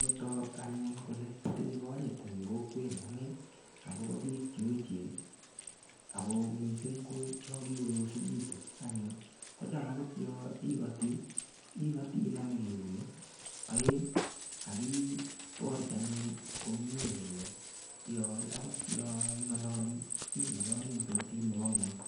Sikotok anyun kole itinye konyit eng' kokwenyu ane akobo biik cheechen ako mising' ko cho kikoyosikitu anyun kocham akot yo ikoti ikoti inome eunek oeng' akiborchi anyun komye kole akot yo ing'ololi ing'ololi eng' sautit nebo ng'weny